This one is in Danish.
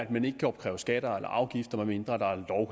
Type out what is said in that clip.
man ikke kan opkræve skatter og afgifter medmindre der